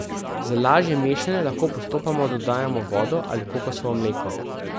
Za lažje mešanje lahko postopoma dodajamo vodo ali kokosovo mleko.